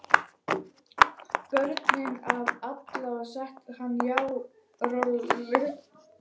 Bröndu af Lalla og setti hana hjá Rolu.